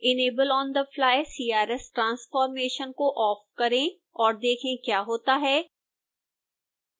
enable onthefly crs transformation को off करें और देखें क्या होता है